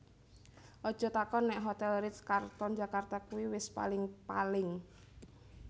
Aja takon nek Hotel Ritz Carlton Jakarta kui wis paling paling